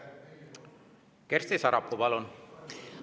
Kersti Sarapuu, palun!